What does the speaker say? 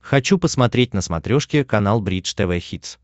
хочу посмотреть на смотрешке канал бридж тв хитс